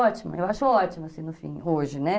Ótima, eu acho ótima, assim, no fim, hoje, né?